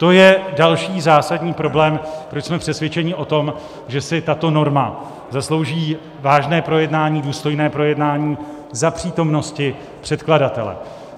To je další zásadní problém, proč jsme přesvědčeni o tom, že si tato norma zaslouží vážné projednání, důstojné projednání za přítomnosti předkladatele.